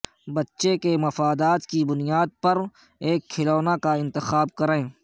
بچے کے مفادات کی بنیاد پر ایک کھلونا کا انتخاب کریں